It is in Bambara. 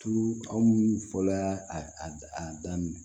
Tulu aw minnu fɔla y'a a daminɛ